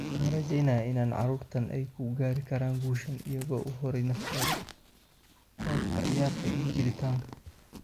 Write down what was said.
Waxaan rajeyneynaa in carruurtan ay ku gaari karaan guushan iyagoo u huray naftooda; qoob ka ciyaarka iyo jilitaanka."